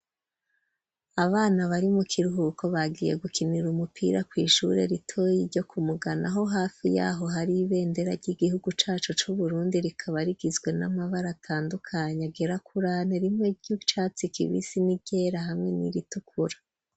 Abana, bari mu kiruhuko, bagiye gukinira umupira, kw’ishure ritoyi, ryo ku Mugano, aho hafi y’aho, hari ibendera, ry'igihugu cacu c'Uburundi; rikaba rigizwe, n'amabara atandukanye, agera kuri ane; rimwe ry'icatsi kibisi, n'iryera, hamwe n'iritukura.